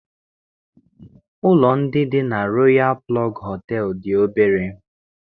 Ụlọ ndị dị na Royalụ Plọg Họtelụ dị obere